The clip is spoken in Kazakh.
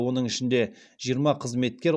оның ішінде жиырма қызметкер